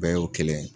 Bɛɛ y'o kelen ye